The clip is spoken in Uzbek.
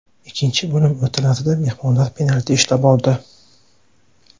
Ikkinchi bo‘lim o‘rtalarida mehmonlar penalti ishlab oldi.